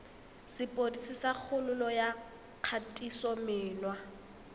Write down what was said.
sepodisi sa kgololo ya kgatisomenwa